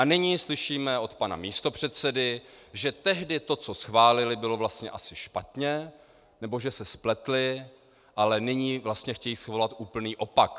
A nyní slyšíme od pana místopředsedy, že tehdy to, co schválili, bylo vlastně asi špatně, nebo že se spletli a nyní vlastně chtějí svolat úplný opak.